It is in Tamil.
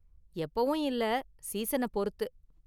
எப்பவும் இல்ல, சீசன பொறுத்து.